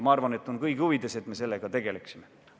Ma arvan, et on kõigi huvides, et me sellega tegeleksime.